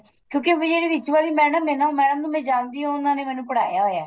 ਕਿਉਂਕਿ ਜਿਹੜੀ ਵਿੱਚ ਵਾਲੀ madam ਏ ਨਾ madam ਨੂੰ ਮੈਂ ਜਾਣਦੀ ਆ ਉਹਨਾ ਨੇ ਮੈਨੂੰ ਪੜਾਇਆ ਹੋਇਆ